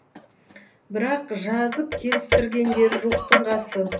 бірақ жазып келістіргендері жоқтың қасы